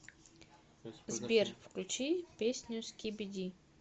сбер включи песню скибиди